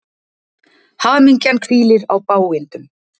Hamingjan hvílir á bágindum.